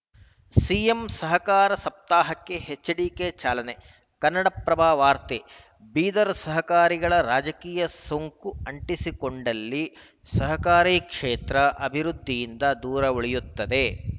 CM ಸಹಕಾರ ಸಪ್ತಾಹಕ್ಕೆ HDK ಚಾಲನೆ ಕನ್ನಡಪ್ರಭ ವಾರ್ತೆ ಬೀದರ್‌ ಸಹಕಾರಿಗಳು ರಾಜಕೀಯದ ಸೊಂಕು ಅಂಟಿಸಿಕೊಂಡಲ್ಲಿ ಸಹಕಾರ ಕ್ಷೇತ್ರ ಅಭಿವೃದ್ಧಿಯಿಂದ ದೂರ ಉಳಿಯುತ್ತವೆ